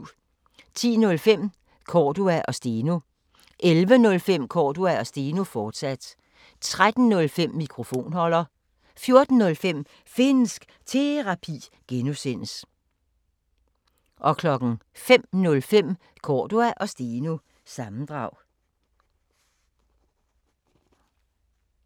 10:05: Cordua & Steno 11:05: Cordua & Steno, fortsat 13:05: Mikrofonholder 14:05: Finnsk Terapi (G) 05:05: Cordua & Steno – sammendrag